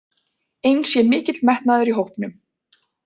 Eins sé mikill metnaður í hópnum